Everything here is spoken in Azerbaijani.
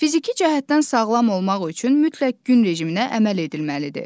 Fiziki cəhətdən sağlam olmaq üçün mütləq gün rejiminə əməl edilməlidir.